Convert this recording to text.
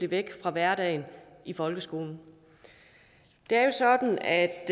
væk fra hverdagen i folkeskolen det er jo sådan at